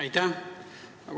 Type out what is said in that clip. Aitäh!